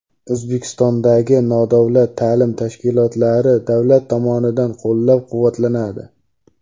O‘zbekistondagi nodavlat ta’lim tashkilotlari davlat tomonidan qo‘llab-quvvatlanadi.